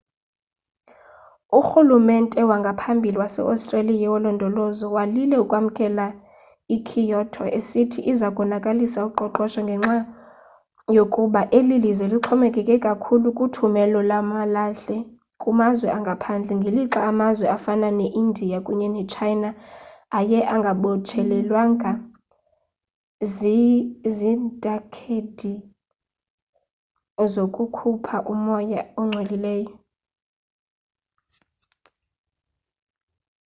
urhulumente wangaphambili wase-australia wolondolozo walile ukwamkela i-kyoto esithi iza konakalisa uqoqosho ngenxa yokuba eli lizwe lixhomekeke kakhulu kuthumelo lwamalahle kumazwe angaphandle ngelixa amazwe afana ne-india kunye ne-china ayengabotshelelwanga ziithagethi zokukhupha umoya ongcolileyo